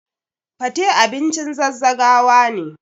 Fate abincin zazzagawa ne.